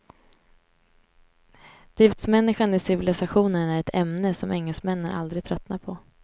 Driftsmänniskan i civilisationen är ett ämne som engelsmännen aldrig tröttnar på.